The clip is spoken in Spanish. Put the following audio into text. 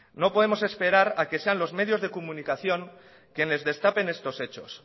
no podemos esperar a que sean los medios de comunicación quienes destapen estos hechos